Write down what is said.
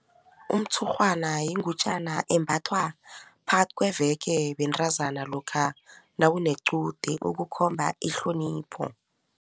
Umtshurhwana yingutjana embathwa phakathi kweveke bentazana lokha nakunequde ukukhomba ihlonipho.